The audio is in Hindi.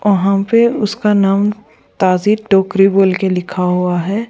वहा पे उसका नाम ताजि टोकरी बोलके लिखा हुआ है।